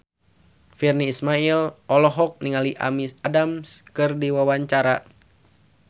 Virnie Ismail olohok ningali Amy Adams keur diwawancara